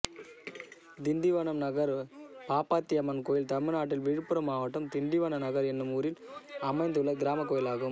திண்டிவனம் நகர் பாப்பாத்தியம்மன் கோயில் தமிழ்நாட்டில் விழுப்புரம் மாவட்டம் திண்டிவனம் நகர் என்னும் ஊரில் அமைந்துள்ள கிராமக் கோயிலாகும்